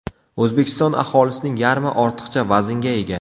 O‘zbekiston aholisining yarmi ortiqcha vaznga ega.